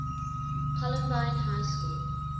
columbine high school